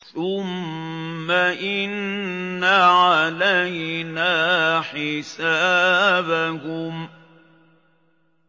ثُمَّ إِنَّ عَلَيْنَا حِسَابَهُم